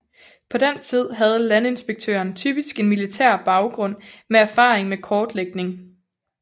På den tid havde landinspektøren typisk en militær baggrund med erfaring med kortlægning